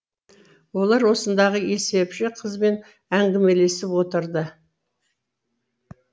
олар осындағы есепші қызбен әңгімелесіп отырды